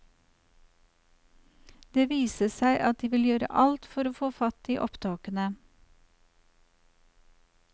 Det viser seg at de vil gjøre alt for å få fatt i opptakene.